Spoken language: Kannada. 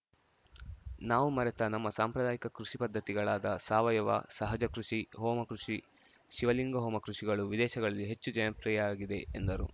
ನಾವು ಮರೆತ ನಮ್ಮ ಸಾಂಪ್ರದಾಯಿಕ ಕೃಷಿ ಪದ್ಧತಿಗಳಾದ ಸಾವಯವ ಸಹಜ ಕೃಷಿ ಹೋಮ ಕೃಷಿ ಶಿವಲಿಂಗ ಹೋಮ ಕೃಷಿಗಳು ವಿದೇಶಗಳಲ್ಲಿ ಹೆಚ್ಚು ಜನಪ್ರಿಯ ಆಗಿದೆ ಎಂದರು